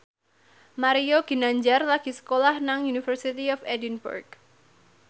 Mario Ginanjar lagi sekolah nang University of Edinburgh